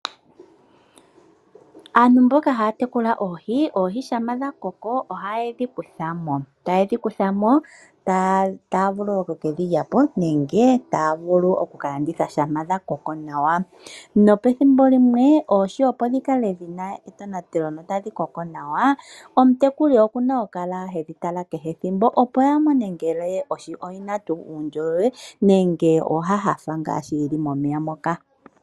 Aantu mboka haya tekula oohi, oohi shampa dha koko ohaye dhi kutha mo, taye dhi kutha mo, taya vulu oku kedhi lyapo nenge taya vulu oku ka landitha shampa dha koko nawa. Nopethimbo limwe oohi opo dhi kale dhina etonatelo notadhi koko nawa, omutekuli oku na oku kala hedhi tala kehe ethimbo opo ya mone ngele ohi oyina tuu uundjolowele nenge oya nyanyukwa ngaa sho yili momeya moka.